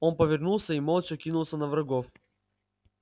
он повернулся и молча кинулся на врагов